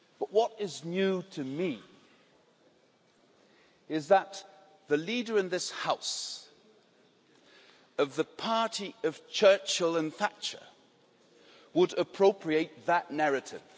What is new to me is that the leader in this House of the party of Churchill and Thatcher would appropriate that narrative.